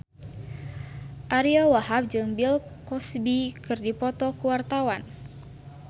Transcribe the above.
Ariyo Wahab jeung Bill Cosby keur dipoto ku wartawan